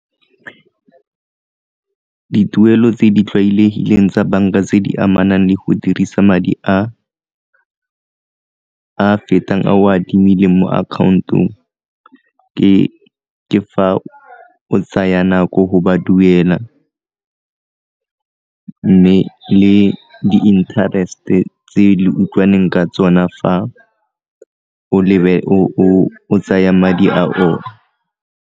Dituelo tse di tlwaelegileng tsa banka tse di amanang le go dirisa madi a fetang ao a adimileng mo account-ong ke fa o tsaya nako go ba duela, mme le di-interest-e tse le utlwaneng ka tsona fa o tsaya madi a bona.